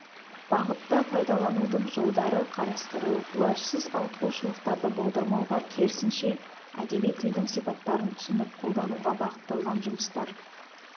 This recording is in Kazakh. бағытта пайдаланудың жолдары қарастырылып уәжсіз ауытқушылықтарды болдырмауға керісінше әдеби тілдің сипаттарын түсініп қолдануға бағытталған жұмыстар